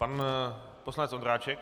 Pan poslanec Ondráček.